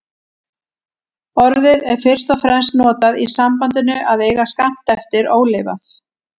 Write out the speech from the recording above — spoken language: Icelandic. Orðið er fyrst og fremst notað í sambandinu að eiga skammt eftir ólifað.